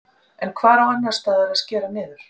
En hvar á annarsstaðar að að skera niður?